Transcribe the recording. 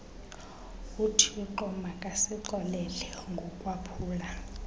uthixo makasixolele ngokwaphula